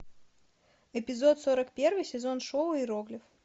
эпизод сорок первый сезон шоу иероглиф